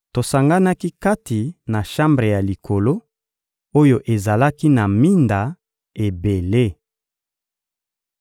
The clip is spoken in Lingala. Tosanganaki kati na shambre ya likolo, oyo ezalaki na minda ebele.